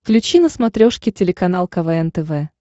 включи на смотрешке телеканал квн тв